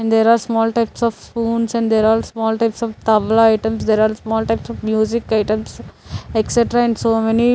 and there are small types of spoons and there are small types of tabla items there are small types of music items excetra and so many--